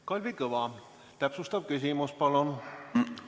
Kalvi Kõva, täpsustav küsimus palun!